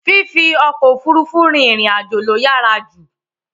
Fífi ọkọ̀ Òfurufú rin ìrìn àjò ló yàrá jù